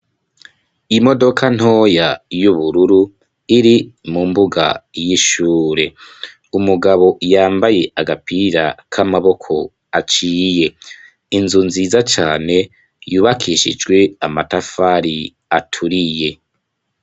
Imodoka ntoya y'ubururu iri mu mbuga y'ishure. Umugabo yambaye agapira k'amaboko aciye. Inzu nziza cane yubakishijwe amatafari aturiye.